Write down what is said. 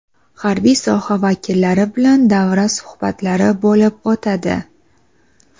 harbiy soha vakillari bilan davra suhbatlari bo‘lib o‘tadi.